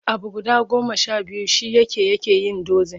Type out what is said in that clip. Abu guda goma sha biyu shi yake yake yin dozin.